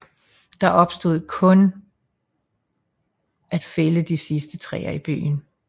Der genstod kun at fælde de sidste træer i byen